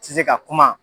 Tɛ se ka kuma